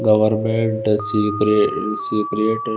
government secret secret --